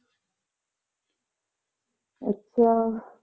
ਅੱਛਾ।